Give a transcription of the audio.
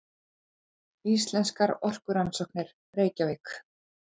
Íslenskar orkurannsóknir, Reykjavík.